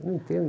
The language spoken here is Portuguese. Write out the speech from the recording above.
Eu não entendo.